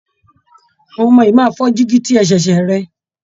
Àwọn ọmọ yìí máa fọ dígi tí ẹ ṣẹ̀ẹṣẹ̀ rẹ